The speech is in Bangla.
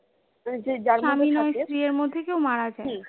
স্বামী বা স্ত্রীর মধ্যে কেও মারা যাই